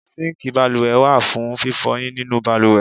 Síǹkì balùwẹ̀ wà fún fífọyín nínu balùwẹ̀.